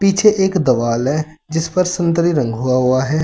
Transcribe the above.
पीछे एक दवाल है जिस पर संतरी रंग हुआ हुआ है।